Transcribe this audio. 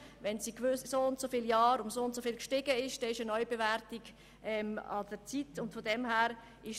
Wenn die Werte während einer bestimmten Anzahl Jahre um so viel gestiegen sind, dann ist eine Neubewertung an der Zeit.